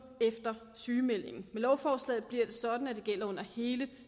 efter sygemeldingen med lovforslaget bliver det sådan at det gælder under hele